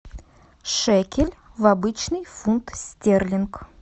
шекель в обычный фунт стерлинг